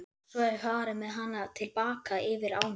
Svo var farið með hana til baka yfir ána.